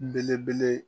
Belebele